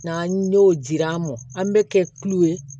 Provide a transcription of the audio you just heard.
N'an y'o jira an mɔ an bɛ kɛ kulu ye